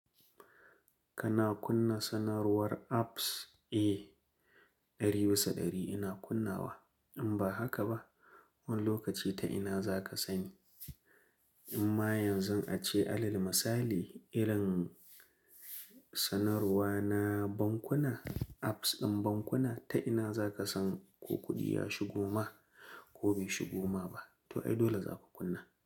Kana kunna sanarwar apps? Eh, dari bisa dari ina kunnawa. In ba haka ba, wani lokaci ta ina za ka sani? Amma yanzu an ce alal misali, irin sanarwa na bankuna, apps ɗin bankuna ta ina za ka san ko kuɗi ya shigo ma ko bai shigo ma ba. To ai dole za ka kunna.